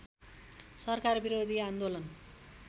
सरकार विरोधी आन्दोलन